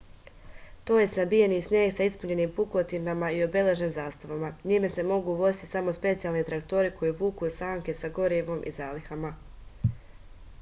to je sabijeni sneg sa ispunjenim pukotinama i obeležen zastavama njime se mogu voziti samo specijalni traktori koji vuku sanke sa gorivom i zalihama